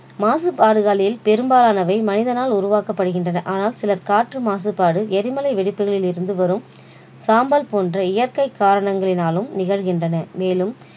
மாசுபாடுகளில் பெரும்பாலானவை மனிதனால் உருவாகப்படுகின்றன ஆனால் சில காற்று மாசுபாடு எரிமலை வெடிப்பதில் இருந்து வரும் சாம்பல் போன்ற இயற்கை காரணங்களினாலும் நிகழ்கின்றன மேலும்